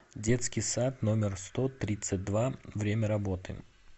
детский сад номер сто тридцать два время работы